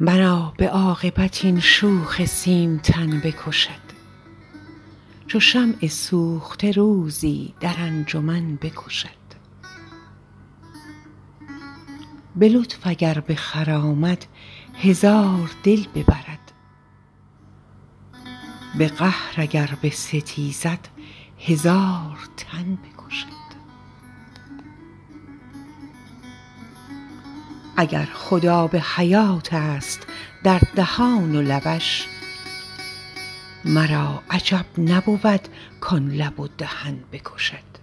مرا به عاقبت این شوخ سیمتن بکشد چو شمع سوخته روزی در انجمن بکشد به لطف اگر بخرامد هزار دل ببرد به قهر اگر بستیزد هزار تن بکشد اگر خود آب حیاتست در دهان و لبش مرا عجب نبود کان لب و دهن بکشد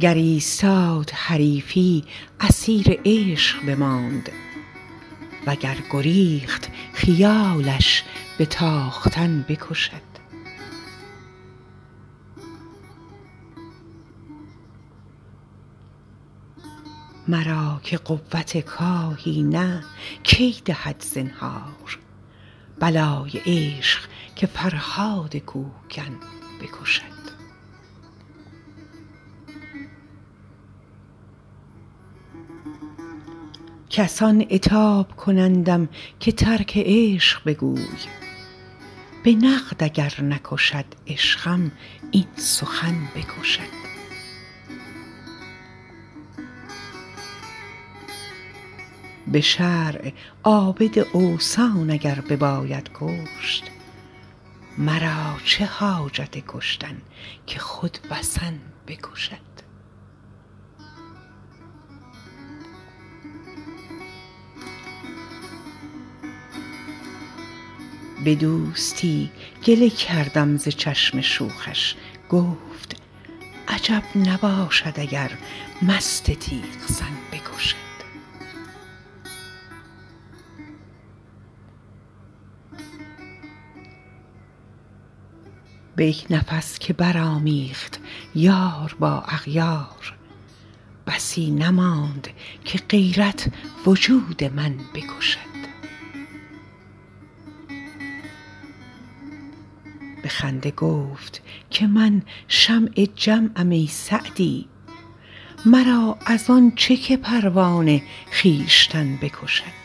گر ایستاد حریفی اسیر عشق بماند و گر گریخت خیالش به تاختن بکشد مرا که قوت کاهی نه کی دهد زنهار بلای عشق که فرهاد کوهکن بکشد کسان عتاب کنندم که ترک عشق بگوی به نقد اگر نکشد عشقم این سخن بکشد به شرع عابد اوثان اگر بباید کشت مرا چه حاجت کشتن که خود وثن بکشد به دوستی گله کردم ز چشم شوخش گفت عجب نباشد اگر مست تیغ زن بکشد به یک نفس که برآمیخت یار با اغیار بسی نماند که غیرت وجود من بکشد به خنده گفت که من شمع جمعم ای سعدی مرا از آن چه که پروانه خویشتن بکشد